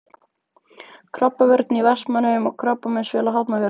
Krabbavörn í Vestmannaeyjum og Krabbameinsfélag Hafnarfjarðar.